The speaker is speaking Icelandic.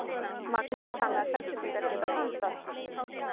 Magnús: Þannig að Selfyssingar geta dansað?